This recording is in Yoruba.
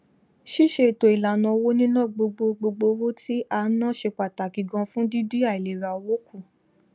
síse ètòìlànà owó níná gbogbo gbogbo owó tí a ná ṣe pàtàkì ganan fún dín dín àìlera owó kù